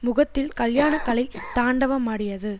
முகத்தில் கல்யாண கலை தாண்டவமாடியது